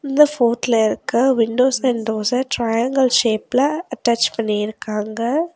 இந்த போட்ல இருக்க விண்டோஸ் விண்டோஸ்ஸ ட்ரையாங்கிள் ஷேப்ல அட்டாச் பண்ணிருக்காங்க.